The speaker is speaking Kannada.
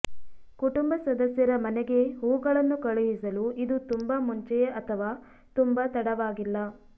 ಕುಟುಂಬ ಸದಸ್ಯರ ಮನೆಗೆ ಹೂವುಗಳನ್ನು ಕಳುಹಿಸಲು ಇದು ತುಂಬಾ ಮುಂಚೆಯೇ ಅಥವಾ ತುಂಬಾ ತಡವಾಗಿಲ್ಲ